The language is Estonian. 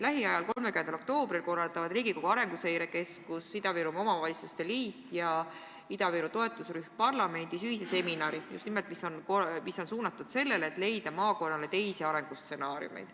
Lähiajal, 30. oktoobril korraldavad Riigikogu Arenguseire Keskus, Ida-Virumaa Omavalitsuste Liit ja Ida-Viru toetusrühm parlamendis ühise seminari, mis on suunatud sellele, et leida maakonnale teisi arengustsenaariumeid.